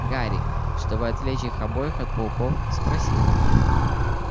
гарри чтобы отвлечь их обоих от пауков спросил